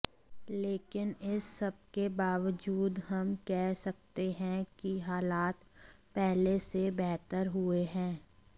लेकिन इस सबके बावजूद हम कह सकते हैं कि हालात पहले से बेहतर हुए हैं